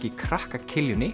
í krakka